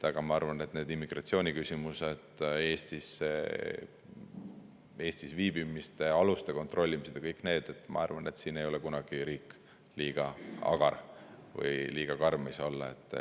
Aga ma arvan, et immigratsiooniküsimuste, Eestis viibimise aluste kontrollimise ja kõigi ei ole kunagi riik liiga agar ja ei saa olla liiga karm.